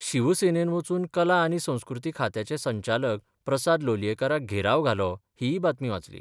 शिवसेनेन बचून कला आनी संस्कृती खात्याचे संचालक प्रसाद लोलयेकाराक घेराव घालो हीय बातमी वाचली.